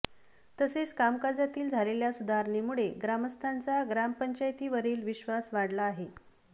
तसेच कामकाजातील झालेल्या सुधारणेमुळे ग्रामस्थांचा ग्रामपंचायती वरील विश्वास वाढला आहे